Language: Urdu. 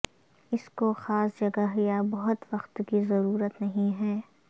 اس کو خاص جگہ یا بہت وقت کی ضرورت نہیں ہے